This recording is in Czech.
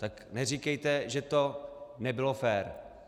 Tak neříkejte, že to nebylo fér.